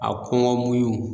A kɔngɔ muɲun